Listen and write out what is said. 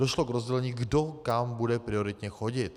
Došlo k rozdělení, kdo kam bude prioritně chodit.